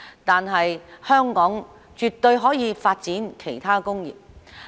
但是，香港絕對可以發展其他工業。